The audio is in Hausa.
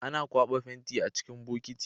Ana kwaba fenti a cikin bokiti